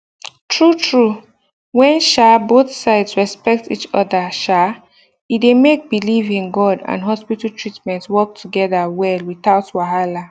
true true when um both sides respect each other um e dey make belief in god and hospital treatment work together well without wahala